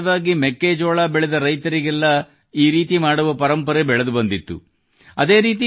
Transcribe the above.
ಹೀಗೆ ಸಾಮಾನ್ಯವಾಗಿ ಮೆಕ್ಕೆಜೋಳ ಬೆಳೆದ ರೈತರಿಗೆಲ್ಲ ಮಾಡುವ ಪರಂಪರೆ ಬೆಳೆದು ಬಂದಿತ್ತು